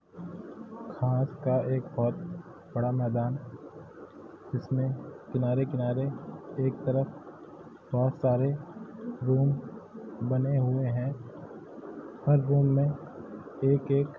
घांस का एक बहुत बड़ा मैदान जिसमें किनारे-किनारे एक तरफ बहुत सारे रूम बने हुए हैं हर रूम में एक-एक --